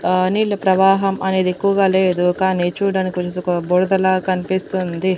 ఆ నీళ్ళ ప్రవాహం అనేది ఎక్కువగా లేదు కానీ చూడ్డానికి బుడదలా కన్పిస్తుంది.